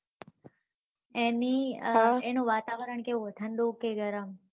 એની વાતારણ કેવું હોય ઠંડુ કે ગરમ